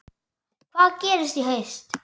Hvað gerist í haust?